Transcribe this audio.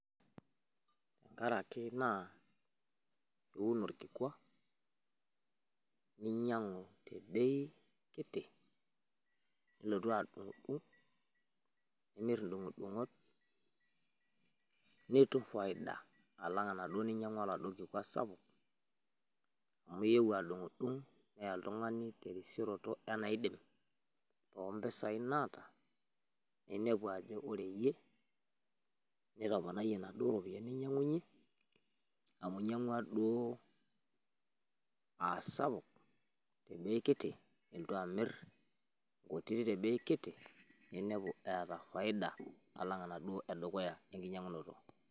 Intarru ake naa iun olkikua ninyang'u te beii kiti nilotu aadung'dung' nimirr indung'dung'ot niitum faida alang anado ninyang'ua nado kikua sapuk, amu iewuo adung'dung' neeya oltungani te risioroto enaiidim ompesaiii naata, niinepu aajo koree iyie nitoponaiye nadoo iropiyiani niinyang'unye amu inyang'ua duo aasapuk te bei nilotu aamirr nkutii te bei kitii ninepu eeta faida alang enado edukuya enkinyang'unoto.